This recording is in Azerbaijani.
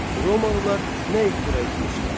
Romalılar nə ixtira etmişlər?